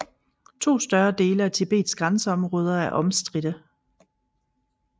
To større dele af Tibets grænseområder er omstridte